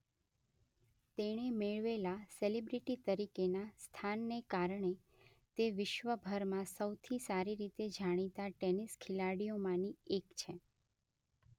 તેણે મેળવેલા સિલિબ્રિટી તરીકેના સ્થાનને કારણે તે વિશ્વભરમાં સૌથી સારી રીતે જાણીતા ટેનિસ ખેલાડીઓમાંની એક.